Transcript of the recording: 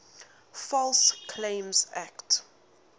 false claims act